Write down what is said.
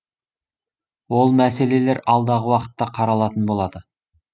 ол мәселелер алдағы уақытта қаралатын болады